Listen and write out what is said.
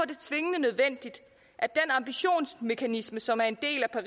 det tvingende nødvendigt at den ambitionsmekanisme som er en del af